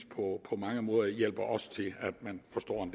på mange måder hjælper os til at man